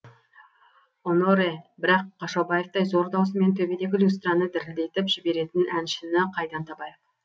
оноре бірақ қашаубаевтай зор даусымен төбедегі люстраны дірілдетіп жіберетін әншіні қайдан табайық